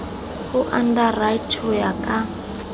ho underwriter ho ya ka